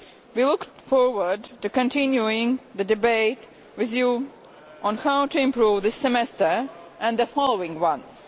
We look forward to continuing the debate with Parliament on how to improve this Semester and the following ones.